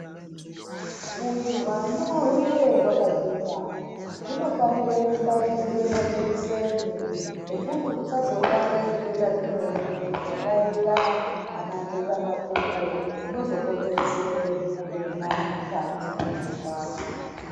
Kuti hwana hwukure hwakagwinya, hunofanire kubairwe majekiseni ekuti husazorware zvitenda zvimweni, zvakaita ana nhetamakumbo, zvinozokonzerese urema mukati mwehwana.